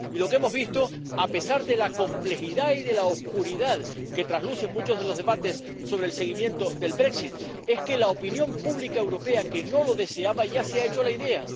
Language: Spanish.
Y lo que hemos visto, a pesar de la complejidad y de la oscuridad que traslucen muchos de los debates sobre el seguimiento del brexit es que la opinión pública europea, que no lo deseaba, ya se ha hecho a la idea.